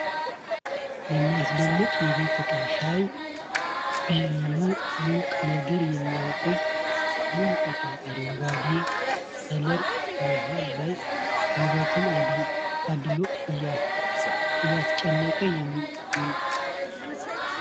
የሚያስደንቀኝ የቤት እቃ ፤ ሻይ ቢሉ ሙቅ ነገርን የሚያቆይ ድንቅ እቃ ፤ አረንጓዴ ከለር መሐል ላይ ውበትን አድሎት አያስጨንቅም ለሚያየው